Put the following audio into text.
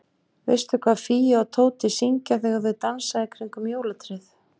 Veistu hvað Fía og Tóti syngja þegar þau dansa í kringum jólatréð?